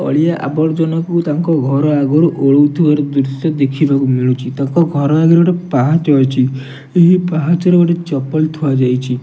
ଅଳିଆ ଆବର୍ଜନାକୁ ତାଙ୍କ ଘର ଆଗରୁ ଓଳେଉଥିବାର ଦୃଶ୍ୟ ଦେଖିବାକୁ ମିଳୁଚି ତାଙ୍କ ଘର ଆଗରେ ଗୋଟେ ପାହାଚ ଅଛି ଏହି ପାହାଚ ରେ ଗୋଟେ ଚପଲ ଥୁଆ ଯାଇଛି।